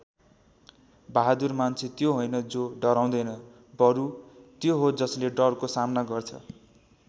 बहादुर मान्छे त्यो होइन जो डराउँदैन बरु त्यो हो जसले डरको सामना गर्छ।